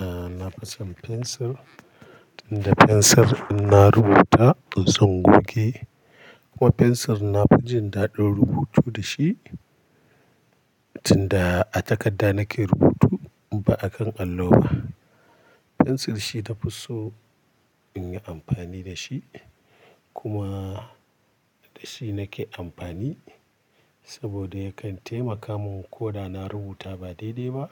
Aaa, na fi son fensir, tunda fensir ina rubuta in zan goge. Kuma fensir na fi jin daɗin rubutu dashi, tunda a takadda nake rubutu ba akan allo ba. Fensir shi ta fi so in yi amfani dashi. Kuma da shi nake amfani, saboda yakan taimaka min ko da na rubuta ba daidai ba.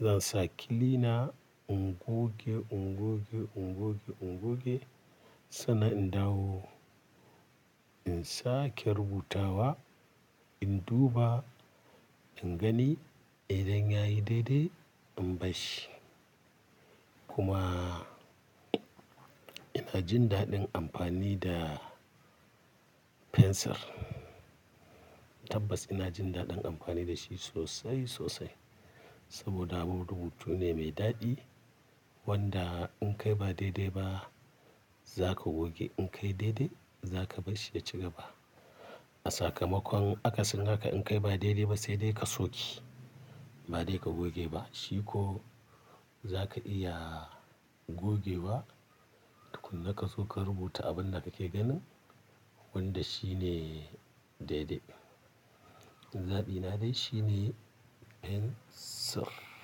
Zan sa kilina, in goge, in goge, in goge, in goge. Sannan in dawo, in sake rubutawa, in duba, in gani idan yayi daidai, in bar shi. Kuma ina jin daɗin amfani da fensir. Tabbas ina jin daɗin amfani dashi sosai, sosai. Saboda abun rubutu ne mai daɗi, wanda in kai ba daidai ba zaka goge. In kai daidai, zaka bar shi ya ci gaba. A sakamakon akasin haka in kai ba daidai ba, sai dai ka soke, ba dai ka goge ba. Shi ko zaka iya gogewa, tukunna ka zo ka rubuta abin da kake ganin wanda shine daidai. Zabi na dai shine fensir.